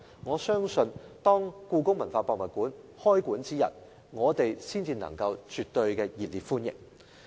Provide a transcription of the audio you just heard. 我相信這樣一來，故宮館開館之日，我們才能夠絕對熱烈歡迎。